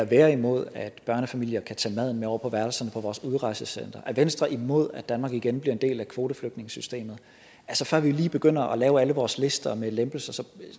være imod at børnefamilier kan tage maden med over på værelserne på vores udrejsecentre er venstre imod at danmark igen bliver en del af kvoteflygtningesystemet før vi lige begynder at lave alle vores lister med lempelser så